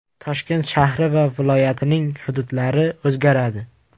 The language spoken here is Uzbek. Toshkent shahri va viloyatining hududlari o‘zgaradi.